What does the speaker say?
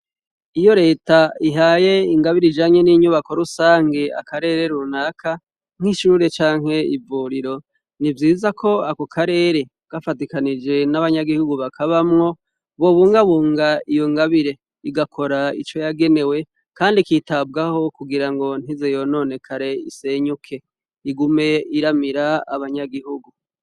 Iyo leta ihaye ingabire janye n'inyubako rusange akarere runaka nk'ishure canke ivuriro ni vyiza ko aku karere bwafatikanije n'abanyagihugu bakabamwo bo bungabunga iyo ngabire igakora ico yagenewe, kandi kitabwaho kugira ngo ntiziyonone karee senyuke igume iramira abanyagihugu.